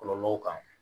Kɔlɔlɔw kan